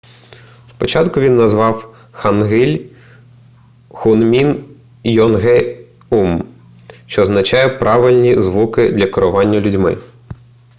спочатку він назвав хангиль хунмін йонгеум що означає правильні звуки для керування людьми